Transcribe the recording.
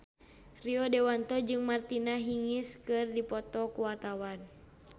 Rio Dewanto jeung Martina Hingis keur dipoto ku wartawan